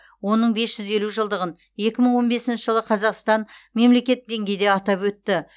оның бес жүз елу жылдығын екі мың он бесінші жылы қазақстан мемлекет деңгейде атап өтті